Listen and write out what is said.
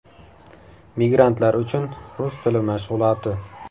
Migrantlar uchun rus tili mashg‘uloti.